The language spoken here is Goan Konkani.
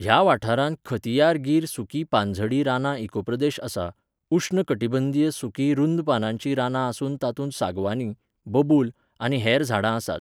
ह्या वाठारांत खथियार गिर सुकीं पानझडी रानां इकोप्रदेश आसा, उश्ण कटिबंधीय सुकीं रूंद पानांचीं रानां आसून तातूंत सागवानी, बबूल आनी हेर झाडां आसात.